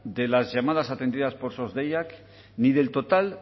de las llamadas atendidas por sos deiak ni del total